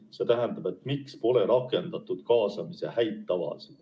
See tähendab, miks pole rakendatud kaasamise häid tavasid.